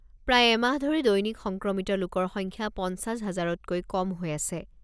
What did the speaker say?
প্ৰায় এমাহ ধৰি দৈনিক সংক্ৰমিত লোকৰ সংখ্যা পঞ্চাছ হাজাৰতকৈ কম হৈ আছে।